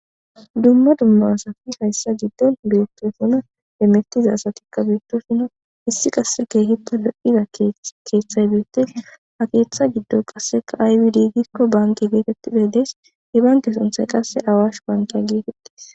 Dumma dumma asati hayisa gidon betosona hemetiza asatika betosona issi qase kehippe bloiza keeththay betes ha keeththa gido qaseka ayibi di gikko banke getetiday des he banke sunthay qase awashe banke getetes.